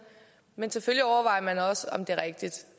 men selvfølgelig overvejer man også om det er rigtigt